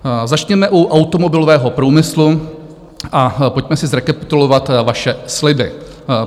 Začněme u automobilového průmyslu a pojďme si zrekapitulovat vaše sliby.